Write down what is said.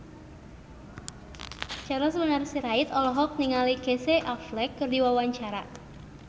Charles Bonar Sirait olohok ningali Casey Affleck keur diwawancara